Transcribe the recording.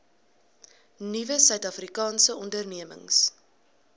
nuwe suidafrikaanse ondernemings